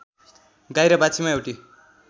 गाई र बाछीमा एउटी